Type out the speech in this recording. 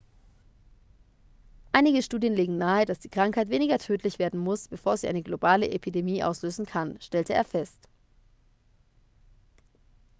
einige studien legen nahe dass die krankheit weniger tödlich werden muss bevor sie eine globale epidemie auslösen kann stellte er fest